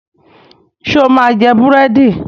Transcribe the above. Ṣo máa jẹ búrẹ́dì?